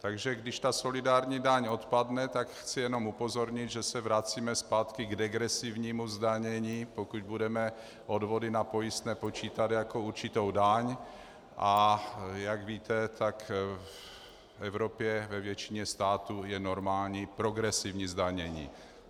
Takže když ta solidární daň odpadne, tak chci jenom upozornit, že se vracíme zpátky k degresivnímu zdanění, pokud budeme odvody na pojistné počítat jako určitou daň, a jak víte, tak v Evropě ve většině států je normální progresivní zdanění.